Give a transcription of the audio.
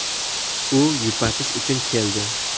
U yupatish uchun keldi.